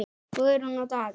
Guðrún og Daði.